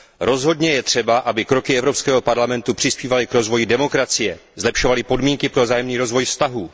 Rozhodně je třeba, aby kroky Evropského parlamentu přispívaly k rozvoji demokracie, zlepšovaly podmínky pro vzájemný rozvoj vztahů.